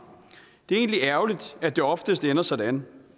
det er egentlig ærgerligt at det oftest ender sådan